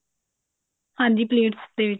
ਹਾਂਜੀ plates plates